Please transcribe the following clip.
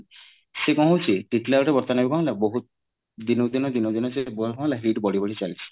ସେ କଣ ହୋଉଛି ଟିଟିଲାଗଡ ରେ ବର୍ତମାନ କଣ ହେଲା ବହୁତ ଦିନ କୁ ଦିନ ଦିନ କୁ ଦିନ ସେ heat ବଢି ବଢି ଚାଲିଛି